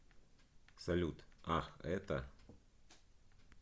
салют ах это